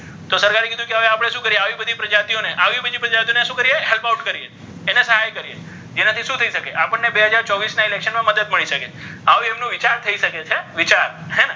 તો સરકારે કીધુ કે આવી બધી પ્રજાતીઓને આવી બધી પ્રજાતીઓને શુ કરીઍ help out કરીઍ જેનાથી શુ થઈ શકે આપણને બે હજાર ચોવીસના election મા મદદ મળી શકે આવો ઍમનો વિચાર થઈ શકે છે વિચાર હે ને!